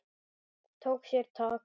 Tók sér tak.